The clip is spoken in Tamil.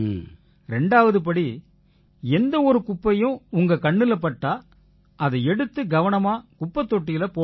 ரெண்டாவது படி எந்த ஒரு குப்பையும் உங்க கண்ணுல பட்டா அதை எடுத்து கவனமா குப்பைத் தொட்டியில போடுங்க